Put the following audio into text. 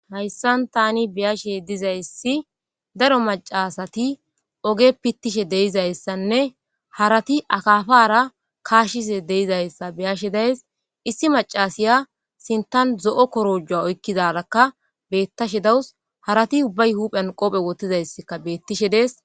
Hassan tani be7ashe dizaysi oge bessan daro maccati oge pittishe dizaysanne harati akaapara kaashishe dizaysa be7ashe dayissi issi maccassiyakkacsinthan zo7o korojo oykidaarakka beettishe dees harati huuphan qoobe woththiday beettees.